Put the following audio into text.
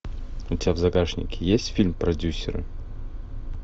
у тебя в загашнике есть фильм продюсеры